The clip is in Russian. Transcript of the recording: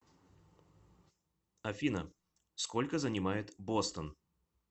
афина сколько занимает бостон